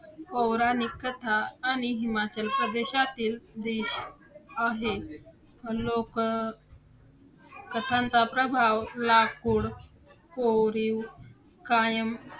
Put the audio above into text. आणि शिक्षण हेच आपले जीवन आहे हे पटवून द्यावे कसे .